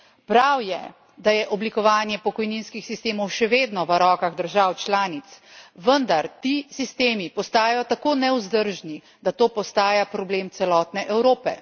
Prav je, da je oblikovanje pokojninskih sistemov še vedno v rokah držav članic, vendar ti sistemi postajajo tako nevzdržni, da to postaja problem celotne Evrope.